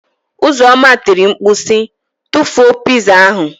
Uzoma tiri mkpu si, tụfuo pịzaa ahụ.